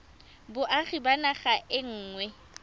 boagi ba naga e nngwe